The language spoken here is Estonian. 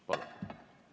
Palun!